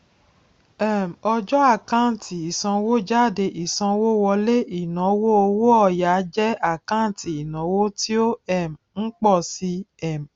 um ọjọ àkáǹtì ìsanwójáde ìsanwówọlé ìnáwó owó òya jẹ àkáǹtì ìnáwó tí ó um ń pọ si um